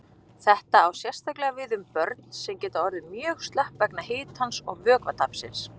Þetta á sérstaklega við um börn sem geta orðið mjög slöpp vegna hitans og vökvatapsins.